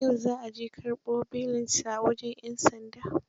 Yau za a je karɓo belinsa aa wajen 'yan sanda.